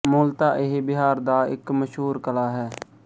ਮੁਲਤਾ ਇਹ ਬਿਹਾਰ ਦਾ ਇੱਕ ਮਸ਼ਹੂਰ ਕਲਾ ਹੈ